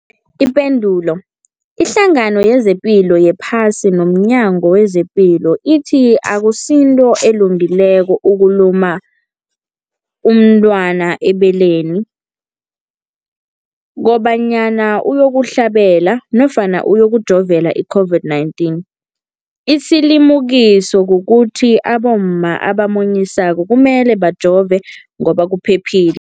Ipendulo, iHlangano yezePilo yePhasi nomNyango wezePilo ithi akusinto elungileko ukulumula umntwana ebeleni kobanyana uyokuhlabela nofana uyokujovela i-COVID-19. Isilimukiso kukuthi abomma abamunyisako kumele bajove ngoba kuphephile.